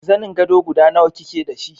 Zanin gado guda nawa kike da shi?